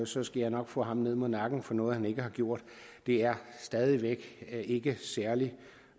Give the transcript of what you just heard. så skal jeg nok få ham ned med nakken for noget han ikke har gjort er stadig væk ikke særlig